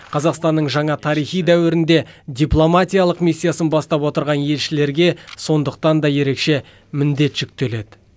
қазақстанның жаңа тарихи дәуірінде дипломатиялық миссиясын бастап отырған елшілерге сондықтан да ерекше міндет жүктеледі